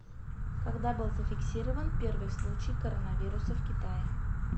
когда был зафиксирован первый случай коронавируса в китае